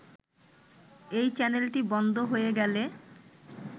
এই চ্যানেলটি বন্ধ হয়ে গেলে